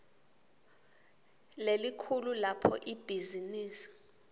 lelikhulu lapho ibhizinisi